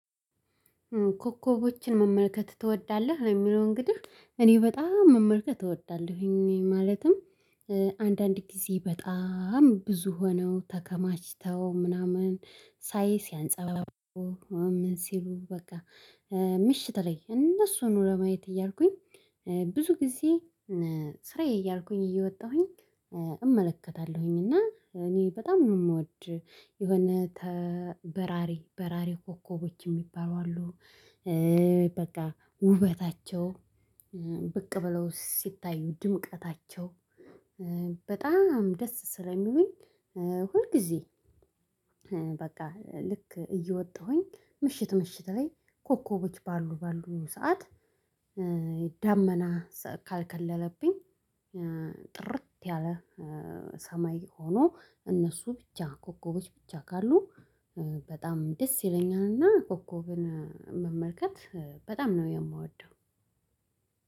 ኮከቦችን መመልከት ትወዳለህ? የሚለው እንግዲህ እኔ በጣም መመልከት እወዳለሁኝ ማለትም አንዳንድ ጊዜ በጣም ብዙ ሆነው ተከማችተው ምናምን ሳይ ሲያንጸባርቁ ምን ሲሉ በቃ ምሽት ላይ እነሱን ኑሮ ማየት እያልኩኝ ብዙ ጊዜ ስራዬ እያልኩኝ እየወጣሁኝ እመለከታለሁኝ እና በጣም ነው የምወድ የሆነ ተበራሪ በራሪ ኮከቦች የሚባሉ አሉ በቃ ውበታቸው ብቅ ብለው ሲታዩ ድምቀታቸው በጣም ደስ ስለሚሉኝ ሁል ጊዜ በቃ ልክ እየወጣሁኝ ምሽት ምሽት ላይ ኮከቦች ባሉ ባሉ ሰዓት ደመና ካልከለለብኝ ጥርት ያለ ሰማይ ሆኖ እነሱ ብቻ ኮከቦች ብቻ ካሉ በጣም ደስ ይለኛልና ኮከብን መመልከት በጣም ነው የምወደው